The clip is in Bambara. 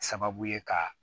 Sababu ye ka